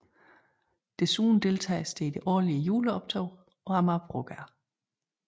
Desuden deltages der i det årlige juleoptog på Amagerbrogade